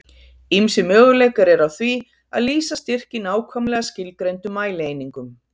Ýmsir möguleikar eru á því að lýsa styrk í nákvæmlega skilgreindum mælieiningum.